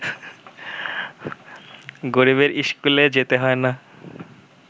গরিবের ইস্কুলে যেতে হয় না